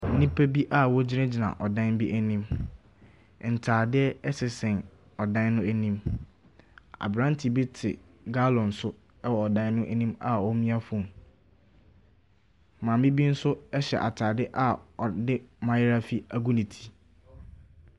Nnipa bi a wɔgyinagyina ɔdan bi anim. Ntaadeɛ ɛsensɛn ɔdan no anim. Abranre bi te gallon so wɔ ɛdan no anima ɔremia phone. Maame bi nso hyɛ ataade a ɔde mayaafi agu ne ti.